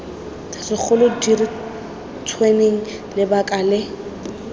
segolo di diretsweng lebaka le